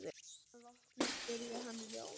Að því loknu spurði hann Jón